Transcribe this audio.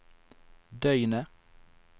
døgnet